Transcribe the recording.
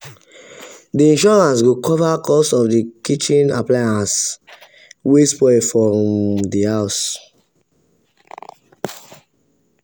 the insurance go cover cost of kitchen appliance wey spoil for um the house.